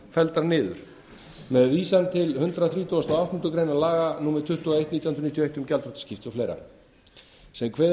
felldar niður með vísan til hundrað þrítugasta og áttundu grein laga númer tuttugu og eitt nítján hundruð níutíu og eitt um gjaldþrotaskipti og fleira sem kveður